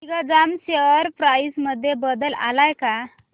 Digjam share price मध्ये बदल आलाय का